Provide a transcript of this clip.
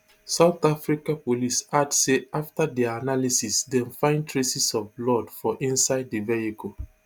south africa police add say afta dia analysis dem find traces of blood for inside di vehicle